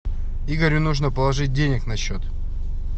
игорю нужно положить денег на счет